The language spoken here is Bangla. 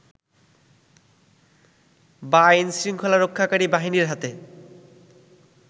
বা আইন শৃংখলারক্ষাকারী বাহিনীর হাতে